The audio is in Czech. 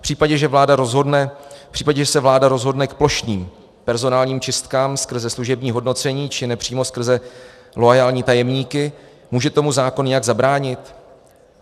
V případě, že se vláda rozhodne k plošným personálním čistkám skrze služební hodnocení či nepřímo skrze loajální tajemníky, může tomu zákon nějak zabránit?